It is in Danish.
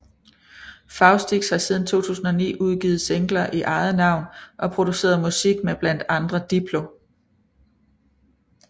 Faustix har siden 2009 udgivet singler i eget navn og produceret musik med blandt andre Diplo